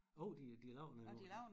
Jo de de laver den endnu